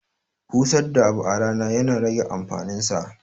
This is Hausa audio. Busar da abu a rana ya na rage amfanin sa.